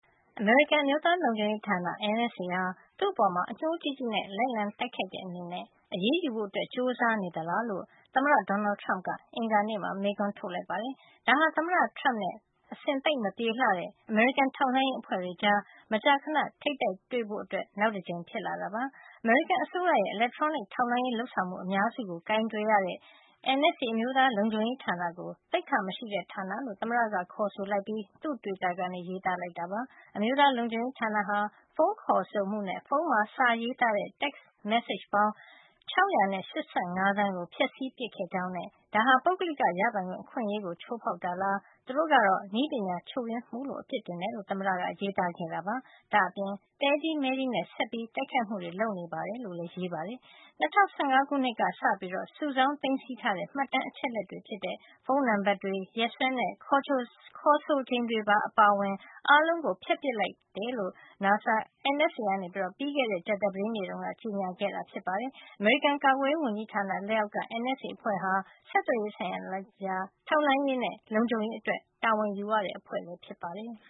အမေရိကန် အမျိုးသားလုံခြုံရေးဌာန NSA ဟာ သူ့အပေါ် အညှိုးကြီးကြီးနဲ့ လိုက်လံတိုက်ခိုက်တဲ့အနေနဲ့ အရေးယူဖို့ ကြိုးစားနေသလားလို့ သမ္မတ Donald Trump က အင်္ဂါနေ့မှာ မေးခွန်းထုတ်လိုက်ပါတယ်။ ဒါဟာ သမ္မတ Trump နဲ့ အဆင်သိပ်မပြေတဲ့ အမေရိကန် ထောက်လှန်းရေးအဖွဲ့တွေကြား မကြာခဏ ထိပ်တိုက်တွေ့ဖို့ နောက်တကြိမ်ဖြစ်လာတာပါ။ အမေရိကန် အစိုးရရဲ့ အီလက်ထရောနစ် ထောက်လှန်းရေး လုပ်ဆောင်မှု အများစုကို ကိုင်တွယ်ရတဲ့ NSA အမျိုးသားလုံခြုံရေးဌာန ကို သိက္ခာမရှိတဲ့ ဌာနလို့ သမ္မတက ခေါ်ဆိုပြီး သူ့တွစ်တာကနေ ရေးသားလိုက်တာဖြစ်ပါတယ်။ အမျိုးသားလုံခြုံရေးဌာနဟာ ဖုန်းခေါ်ဆိုမှုနဲ့ ဖုန်းမှာ စာနဲ့ရေးသားတဲ့ တက်စ် မက်စေ့ချ် ပေါင်း ၆၈၅ သန်းကို ဖျက်ပစ်ခဲ့ကြောင်းနဲ့ ဒါဟာ ပုဂ္ဂလိက ရပိုင်ခွင့် အခွင့်အရေးကို ချိုးဖေါက်တာလား၊ သူတို့က နည်းပညာချို့ယွင်းမှုလို့ အပြစ်ဖြစ်တယ်လို့ သမ္မတ က ရေးသားခဲ့တာပါ။ ဒါ့အပြင် သဲကြီးမဲကြီးနဲ့ ဆက်ပြီး တိုက်ခိုက်မှုတွေ လုပ်နေတယ်လို့လည်း ရေးပါတယ်။ ၂၀၁၅ ခုနှစ်ကစပြီး စုဆောင်း သိမ်းဆည်းထားတဲ့ မှတ်တမ်းအချက်အလက်တွေဖြစ်တဲ့ ဖုံးနံပတ်တွေ၊ ရက်စွဲနဲ့ ခေါ်ဆိုချိန်တွေ အားလုံးကို ဖျက်ပစ်လိုက်မိတယ်လို့ NSA က ပြီးခဲ့တဲ့ကြာသပတေးနေ့တုန်းက ကြေညာခဲ့တာဖြစ်ပါတယ်။ အမေရိကန် ကာကွယ်ရေး ဝန်ကြီးဌာန လက်အောက်က NSA အဖွဲ့ဟာ ဆက်သွယ်ရေး ဆိုင်ရာ ထောက်လှန်းရေးနဲ့ လုံခြုံရေးအတွက် တာဝန်ယူရတဲ့ အဖွဲ့ဖြစ်ပါတယ်။